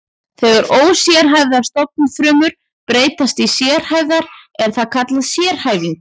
Þegar ósérhæfðar stofnfrumur breytast í sérhæfðar er það kallað sérhæfing.